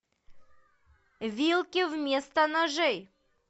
вилки вместо ножей